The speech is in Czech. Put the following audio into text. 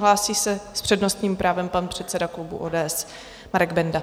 Hlásí se s přednostním právem pan předseda klubu ODS Marek Benda.